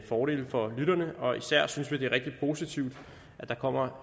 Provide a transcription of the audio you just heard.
fordele for lytterne og især synes vi det er rigtig positivt at der kommer